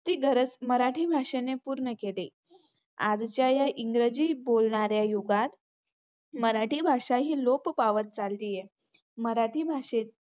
ती गरज मराठी भाषेने पूर्ण केले. आजच्या या इंग्रजी बोलणाऱ्या युगात मराठी भाषा ही लोप पावत चालली आहे. मराठी भाषे